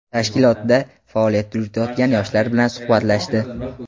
tashkilotda faoliyat yuritayotgan yoshlar bilan suhbatlashdi.